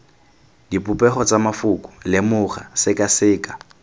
dipopego tsa mafoko lemoga sekaseka